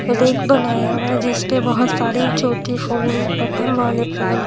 rake बनाया हुआ है जिसपे बहुत सारी छोटी फोन बटन वाले फोन --